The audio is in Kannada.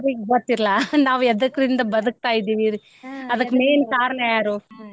ಅವ್ರಿಗೆ ಗೊತ್ತ ಇಲ್ಲಾ ನಾವ್ ಎದ್ಕರಿಂದ ಬದಕ್ತಾ ಇದೀವ್ರಿ ಅದ್ಕ main ಕಾರಣ ಯಾರು .